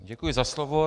Děkuji za slovo.